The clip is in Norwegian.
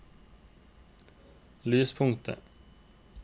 lyspunktet